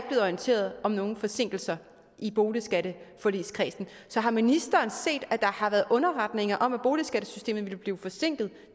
orienteret om nogen forsinkelser i boligskatteforligskredsen så har ministeren set at der har været underretninger om at boligskattesystemet ville blive forsinket